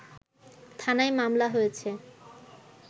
থানায় মামলা হয়েছে